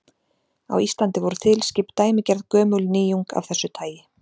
Á Íslandi voru þilskip dæmigerð gömul nýjung af þessu tagi.